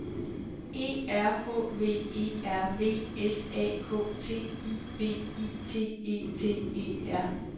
E R H V E R V S A K T I V I T E T E R